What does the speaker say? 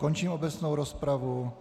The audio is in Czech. Končím obecnou rozpravu.